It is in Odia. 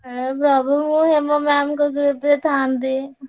ହେ ପ୍ରଭୁ ମୁଁ ହେମ ma'am ଙ୍କ group ରେ ଥାଆନ୍ତି।